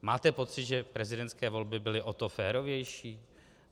Máte pocit, že prezidentské volby byly o to férovější?